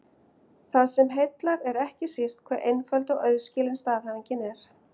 Það sem heillar er ekki síst hve einföld og auðskilin staðhæfingin er.